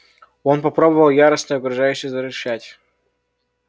он попробовал яростно и угрожающе зарычать